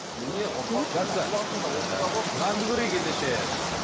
нанды көрейік ендеше